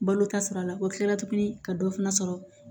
Balo ta sira la o kilara tuguni ka dɔ fana sɔrɔ